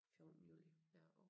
fjortende juli